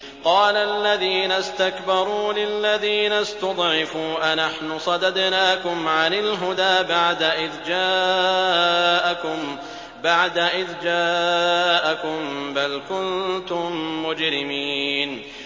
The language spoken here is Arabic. قَالَ الَّذِينَ اسْتَكْبَرُوا لِلَّذِينَ اسْتُضْعِفُوا أَنَحْنُ صَدَدْنَاكُمْ عَنِ الْهُدَىٰ بَعْدَ إِذْ جَاءَكُم ۖ بَلْ كُنتُم مُّجْرِمِينَ